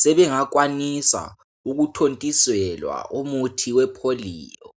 sebengakwanisa ukuthontiselwa umuthi wepholiyo.